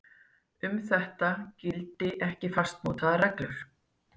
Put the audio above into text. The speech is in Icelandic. Um þetta gildi ekki fastmótaðar reglur